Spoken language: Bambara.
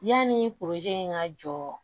Yanni ka jɔ